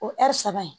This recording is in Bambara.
O saba in